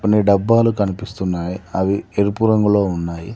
కొన్ని డబ్బాలు కనిపిస్తున్నాయి అవి ఎరుపు రంగులో ఉన్నాయి.